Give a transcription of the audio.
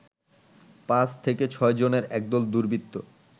৫ থেকে ৬ জনের একদল দুর্বৃত্ত